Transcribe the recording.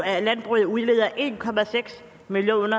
at landbruget udleder en million